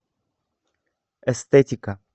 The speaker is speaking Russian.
эстетика